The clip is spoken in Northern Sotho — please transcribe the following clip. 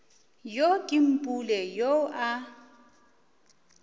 yo ke mpule yoo a